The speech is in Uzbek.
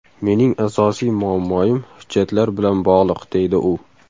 Mening asosiy muammoim hujjatlar bilan bog‘liq, deydi u.